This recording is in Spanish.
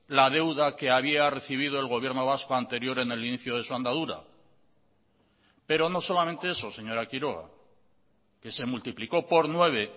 la deuda que había recibido el gobierno vasco anterior en el inicio de su andadura pero no solamente eso señora quiroga que se multiplicó por nueve